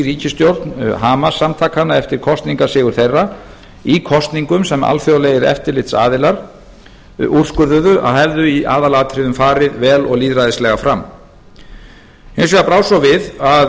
ríkisstjórn hamas samtakanna eftir kosningasigur þeirra í kosningum sem alþjóðlegir eftirlitsaðilar úrskurðuðu að hefðu í aðalatriðum farið vel og lýðræðislega fram hins vegar brá svo við að